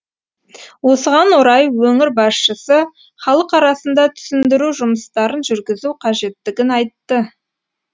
осыған орай өңір басшысы халық арасында түсіндіру жұмыстарын жүргізу қажеттігін айтты